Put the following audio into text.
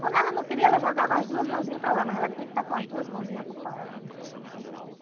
Quando ela não queria, ela jogava as duas mãozinhas para lá, mas ela tinha que estar com as duas mãozinhas ocupadas.